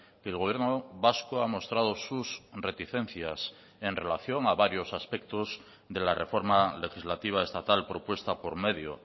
que el gobierno vasco ha mostrado sus reticencias en relación a varios aspectos de la reforma legislativa estatal propuesta por medio